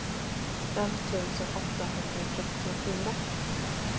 fem tusen åttahundratrettiofyra